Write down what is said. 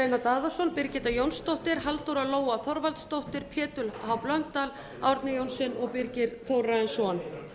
einar daðason birgitta jónsdóttir halldóra lóa þorvaldsdóttir pétur h blöndal árni johnsen og birgir þórarinsson